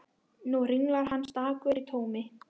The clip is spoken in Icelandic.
Nú hringlar hann stakur í tómi.